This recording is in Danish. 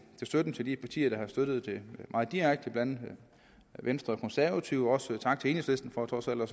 støtten til de partier der har støttet det meget direkte blandt andet venstre og konservative og sige tak til enhedslisten for trods alt at